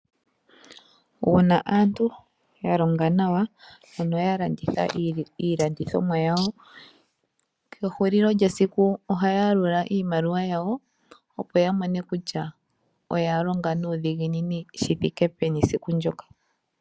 Uuna aantu ya longa nawa, ano ya landitha iilandithomwa yawo, kehulilo lyesiku ohaya yalula iimaliwa yawo. Opo ya mone kutya, oya longa nuudhiginini shi thike peni siku ndyoka.